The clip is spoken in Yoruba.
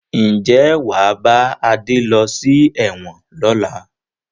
Ǹjẹ́ wàá bá Adé lọ sí ẹ̀wọ̀n lọ́la?